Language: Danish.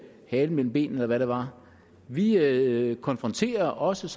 halen mellem benene eller hvad det var vi konfronterer os